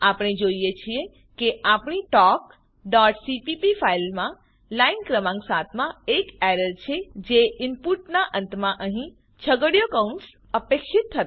આપણે જોઈએ છીએ કે આપણી talkસીપીપી ફાઈલમાં લાઈન ક્રમાંક ૭ માં એક એરર છે જે ઈનપુટનાં અંતમાં અહીં છગડીયો કૌંસ અપેક્ષિત હતો